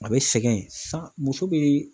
A bɛ sɛgɛn san muso bɛ